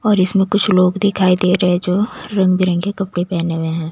और इसमें कुछ लोग दिखाई दे रहे हैं जो रंग बिरंग के कपड़े पहने हुए हैं।